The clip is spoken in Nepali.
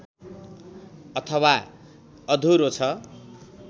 अथवा अधुरो छ